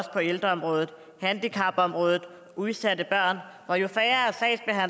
på ældreområdet handicapområdet og udsatte børn og jo